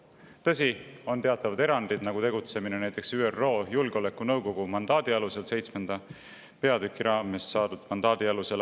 Tõsi, on teatavad erandid, näiteks tegutsemine ÜRO Julgeolekunõukogu mandaadi alusel, seitsmenda peatüki raames saadud mandaadi alusel.